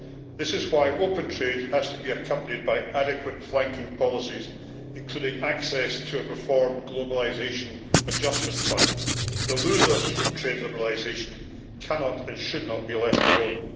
This is why open trade has to be accompanied by adequate flanking policies, including access to a reformed Globalisation Adjustment Fund. The losers from trade liberalisation cannot and should not be left alone.